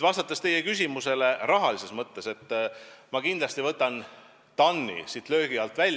Vastates teie küsimusele rahastuse kohta, ma kindlasti võtan TAN-i löögi alt välja.